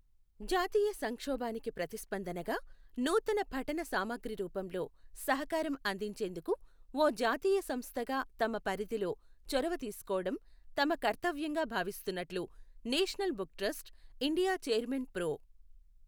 జాతీయ సంక్షోభానికి ప్రతి స్పందనగా, నూతన పఠన సామగ్రి రూపంలో సహకారం అందించేందుకు ఓ జాతీయ సంస్థగా తమ పరిధిలో చొరవ తీసుకోవడం తమ కర్తవ్యంగా భావిస్తున్నట్లు national book trust, India chairman ప్రొ.